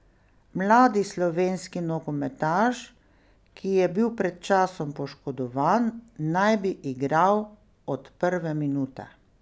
Mladi slovenski nogometaš, ki je bil pred časom poškodovan, naj bi igral od prve minute.